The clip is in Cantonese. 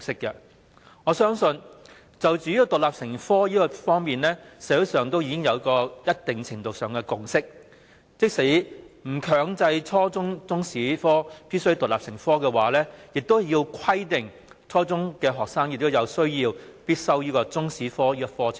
就中史獨立成科而言，社會上已有一定程度的共識，即使不強制初中中史必須獨立成科，亦應規定初中學生必須修習中史科。